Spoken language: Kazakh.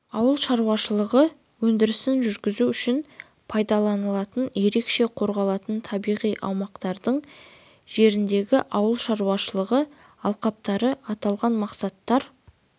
ауыл шаруашылығы өндірісін жүргізу үшін пайдаланылатын ерекше қорғалатын табиғи аумақтардың жеріндегі ауыл шаруашылығы алқаптары аталған мақсаттар